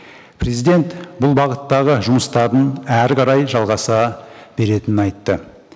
президент бұл бағыттағы жұмыстардың әрі қарай жалғаса беретінін айтты